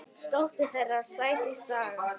Dóttir þeirra: Sædís Saga.